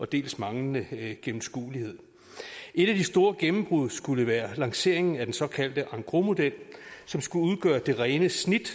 dels manglende gennemskuelighed et af de store gennembrud skulle være lanceringen af den såkaldte engrosmodel som skulle udgøre det rene snit